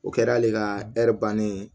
O kɛra ale ka bannen ye